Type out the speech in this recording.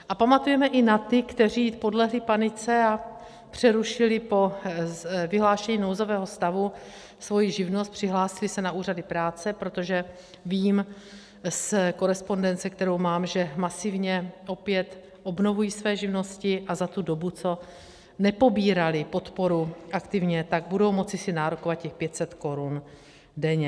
A pamatujeme i na ty, kteří podlehli panice a přerušili po vyhlášení nouzového stavu svoji živnost, přihlásili se na úřady práce, protože vím z korespondence, kterou mám, že masivně opět obnovují své živnosti, a za tu dobu, co nepobírali podporu aktivně, tak budou moci si nárokovat těch 500 korun denně.